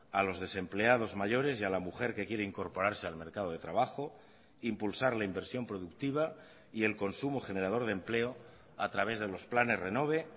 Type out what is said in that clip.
a los desempleados mayores y a la mujer que quiere incorporarse al mercado de trabajo impulsar la inversión productiva y el consumo generador de empleo a través de los planes renove